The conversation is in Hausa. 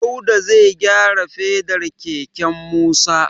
Dauda zai gyara fedar keken Musa.